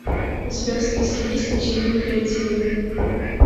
у тебя в списке есть почему мы креативны